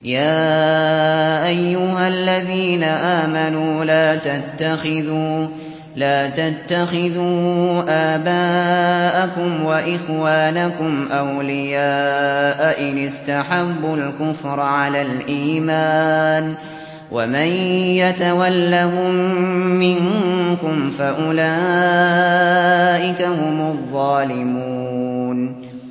يَا أَيُّهَا الَّذِينَ آمَنُوا لَا تَتَّخِذُوا آبَاءَكُمْ وَإِخْوَانَكُمْ أَوْلِيَاءَ إِنِ اسْتَحَبُّوا الْكُفْرَ عَلَى الْإِيمَانِ ۚ وَمَن يَتَوَلَّهُم مِّنكُمْ فَأُولَٰئِكَ هُمُ الظَّالِمُونَ